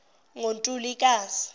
ngontulikazi